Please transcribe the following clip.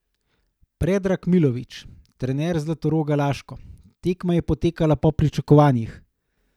Predrag Milović, trener Zlatoroga Laško: "Tekma je potekala po pričakovanjih.